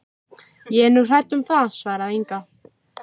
Soffanías, slökktu á niðurteljaranum.